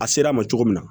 A sera a ma cogo min na